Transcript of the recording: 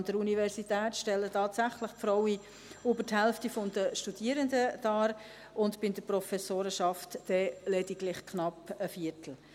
An der Universität stellen tatsächlich die Frauen über die Hälfte der Studierenden dar und bei der ProfessorInnenschaft dann lediglich knapp einen Viertel.